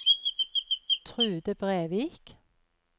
Trude Brevik